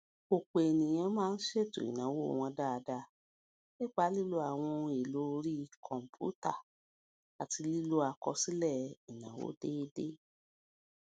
òpò èèyàn máa ń ṣètò ìnáwó wọn dáadáa nípa lílo àwọn ohun èlò orí kòǹpútà àti lílo àkọsílè ìnáwó déédéé